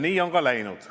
Nii on ka läinud.